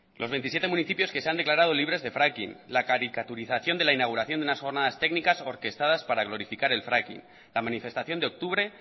los veintisiete municipios que se han declarado libres de fracking la caricaturización de la inauguración de unas jornadas técnicas orquestadas para glorificar el fracking la manifestación de octubre